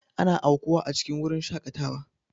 Ana aukuwa a cikin wurin shakatawa.